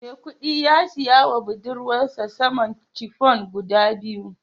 Maikudi ya siya wa budurwarsa saman chiffon guda biyu